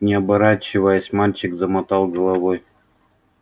не оборачиваясь мальчик замотал головой